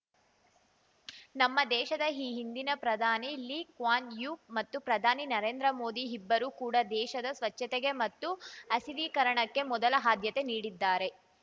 ನಮ್ಮ ದೇಶದ ಈ ಹಿಂದಿನ ಪ್ರಧಾನಿ ಲೀ ಕ್ವಾನ್‌ ಯೂ ಮತ್ತು ಪ್ರಧಾನಿ ನರೇಂದ್ರ ಮೋದಿ ಇಬ್ಬರೂ ಕೂಡ ದೇಶದ ಸ್ವಚ್ಛತೆಗೆ ಮತ್ತು ಹಸಿರೀಕರಣಕ್ಕೆ ಮೊದಲ ಆದ್ಯತೆ ನೀಡಿದ್ದಾರೆ